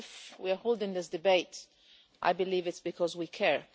We are holding this debate, I believe, because we care.